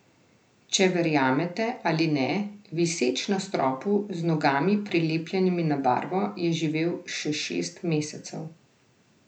Če verjamete ali ne, viseč na stropu, z nogami, prilepljenimi na barvo, je živela še šest mesecev.